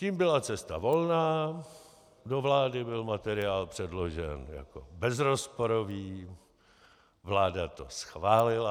Tím byla cesta volná, do vlády byl materiál předložen jako bezrozporový, vláda to schválila.